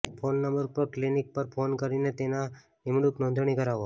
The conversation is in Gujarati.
ફોન નંબર પર ક્લિનિક પર ફોન કરીને તેના નિમણૂક નોંધણી કરાવો